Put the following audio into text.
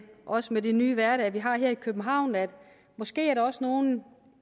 også med den nye hverdag vi har her i københavn at måske er der også nogle